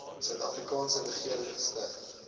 suidafrikaanse regering gestig